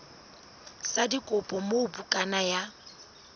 sa dikopo moo bukana ya